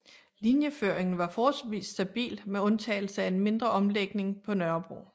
Linjeføringen var forholdsvis stabil med undtagelse af en mindre omlægning på Nørrebro